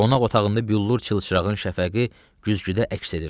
Qonaq otağında büllur çılçırağın şəfəqi güzgüdə əks edirdi.